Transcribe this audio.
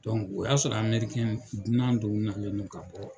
o y'a sɔrɔ amerikɛn dunan dow nalen don ka bɔ